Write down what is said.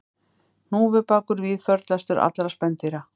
Hnúfubakur víðförlastur allra spendýra